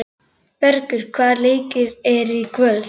Bergur, hvaða leikir eru í kvöld?